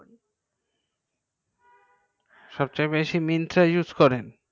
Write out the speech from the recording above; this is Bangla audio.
সবচেয়ে বেশি myntra use করেন